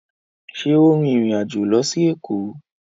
ṣe o rìn ìrin àjọ ló sì Eko?